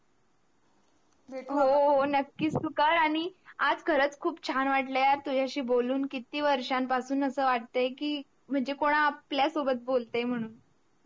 हो हो नक्कीच टू कर आणि आज खरच खूप चान वाटल यार तुझ्याशी बोलून किती वर्षापसून अस वाटते कि म्हणजे कोण आपल्य्सोब्त बोलताय म्हणून